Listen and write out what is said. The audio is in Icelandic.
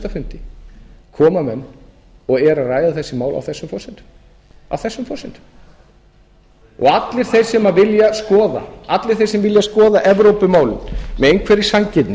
fundi koma menn og eru að ræða þessi mál á þessum forsendum og allir þeir sem vilja skoða evrópumálin með einhverri sanngirni